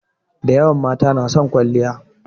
Dayawan mata na son kwalliya.